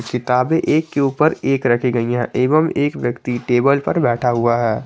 किताबें एक के ऊपर एक रखी गई हैं एवं एक व्यक्ति टेबल पर बैठा हुआ है।